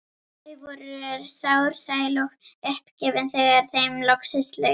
Þau voru sár, sæl og uppgefin þegar þeim loksins lauk.